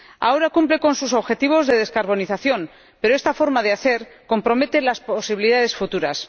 Ahora se cumple con los objetivos de descarbonización, pero esta forma de hacer compromete las posibilidades futuras.